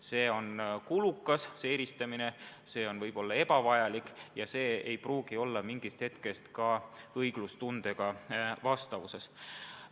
See eristamine on kulukas, see on võib-olla ebavajalik ja see ei pruugi mingist hetkest alates ka õiglustundega vastavuses olla.